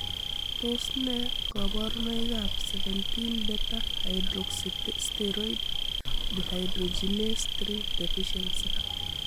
Tos nee koborunoikab 17 beta hydroxysteroid dehydrogenase 3 deficiency?